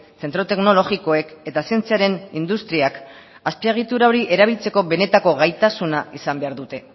zentro teknologikoek eta zientziaren industriak azpiegitura hori erabiltzeko benetako gaitasuna izan behar dute